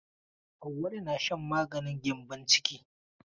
Auwalu na shan maganin gyambon ciki.